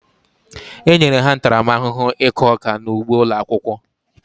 E nyere ha ntaramahụhụ ịkụ ọka n'ụgbo ụlọ akwụkwọ.